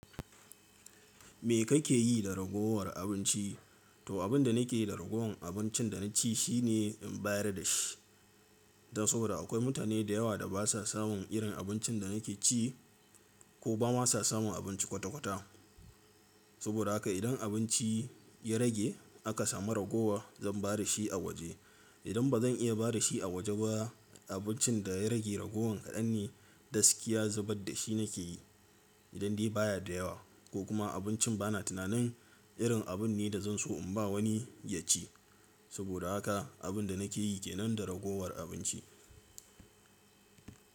Me kake yi da ragowar abinci? To abin da nake da ragowar abincin da na ci shi ne in bayar da shi. Dan saboda akwai mutane da yawa da basa samun irin abincin da nake ci ko ba ma sa samun abinci kwata kwata. Saboda haka idan abinci ya rage aka samu ragowa zan ba da shi a waje. Idan ba zan iya ba da shi a waje ba, abincin da ya rage ragowar hannun gaskiya zubar da shi nake yi. Idan dai baya da yawa ko kuma abincin bana tunanin irin abun ne da zan so in ba wani ya ci. Saboda haka abin da nake yi ke nan da ragowar abinci.